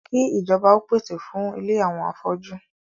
Kí ìjọba ó pèsè fún ilé àwọn afọ́jú